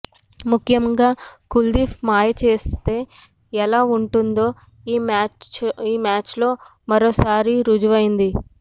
ముఖ్యంగా కుల్దీప్ మాయ చేస్తే ఎలా ఉంటుందో ఈ మ్యాచ్లో మరోసారి రుజువైంది